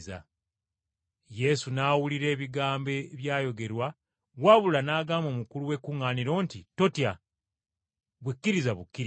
Yesu n’awulira ebigambo ebyayogerwa wabula n’agamba omukulu w’ekkuŋŋaaniro nti, “Totya, ggwe kkiriza bukkiriza.”